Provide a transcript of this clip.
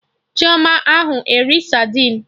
Chioma a ahụ eri sadin